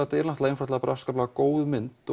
moonlight er afskaplega góð mynd